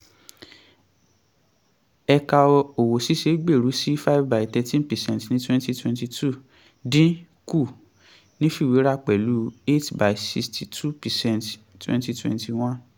ẹ̀ka òwò ṣíṣe gbèrú sí five by thirteen per cent ní twenty twenty two dín kù nífiwéra pẹ̀lú eight by sixty two per cent twenty twenty one.